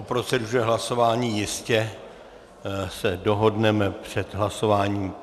O proceduře hlasování se jistě dohodneme před hlasováním.